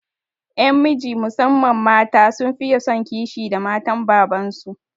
Ƴan miji musamman mata sun fiye son kishi da matan baban su